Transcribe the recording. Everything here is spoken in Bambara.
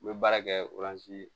N bɛ baara kɛ